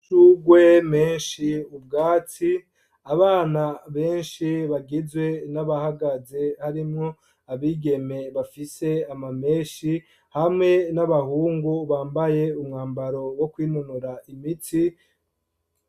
Amashugwe menshi, ubwatsi abana benshi bagizwe n'abahagaze harimwo, abigeme bafise ama meshi hamwe n'abahungu bambaye umwambaro wo kwinonora imitsi.